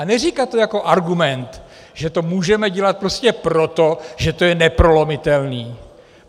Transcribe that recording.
A neříkat to jako argument, že to můžeme dělat prostě proto, že to je neprolomitelné!